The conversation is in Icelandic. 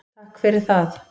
Takk fyrir það.